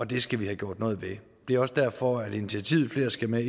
det skal vi have gjort noget ved det er også derfor at vi initiativet flere skal med